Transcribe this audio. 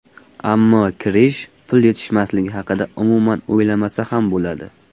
Ammo Krish pul yetishmasligi haqida umuman o‘ylamasa ham bo‘ladi.